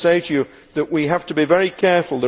I would say to you that we have to be very careful.